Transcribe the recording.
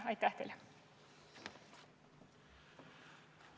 Aitäh teile!